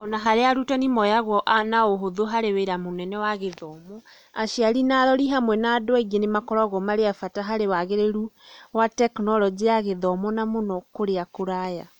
Ona-harĩa arutani moyaguo na ũhũthũ harĩ wĩra mĩnene wa gĩthomo, aciari na arori hamwe ma andũ aingĩ nĩmakoragwo marĩ a bata harĩ wagĩrĩru harĩ wa Tekinoronjĩ ya Gĩthomo na mũno kũrĩa kũraya.